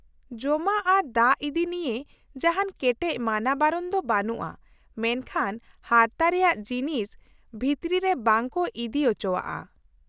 -ᱡᱚᱢᱟᱜ ᱟᱨ ᱫᱟᱜ ᱤᱫᱤ ᱱᱤᱭᱟᱹ ᱡᱟᱦᱟᱱ ᱠᱮᱴᱮᱡ ᱢᱟᱱᱟᱼᱵᱟᱨᱚᱱ ᱫᱚ ᱵᱟᱹᱱᱩᱜᱼᱟ ᱢᱮᱱᱠᱷᱟᱱ ᱦᱟᱨᱛᱟ ᱨᱮᱭᱟᱜ ᱡᱤᱱᱤᱥ ᱵᱷᱤᱛᱨᱤ ᱨᱮ ᱵᱟᱝ ᱠᱚ ᱤᱫᱤ ᱚᱪᱚᱣᱟᱜᱼᱟ ᱾